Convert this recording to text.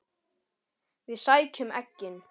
Við sækjum eggin.